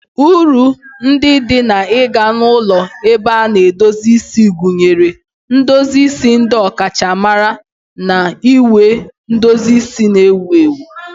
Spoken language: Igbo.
Uru ndị dị n'ịga na ulọ ebe a na-edozi isi gụnyere ndozi isi ndị ọkachamara na ịnweta edozi isi na-ewu ewu.